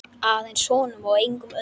Aðeins honum og engum öðrum.